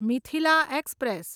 Mithila express